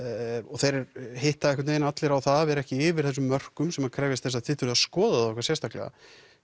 þeir hitta einhvern vegin allir á það að vera ekki yfir þessum mörkum sem krefjast þess að þið þurfið að skoða þá eitthvað sérstaklega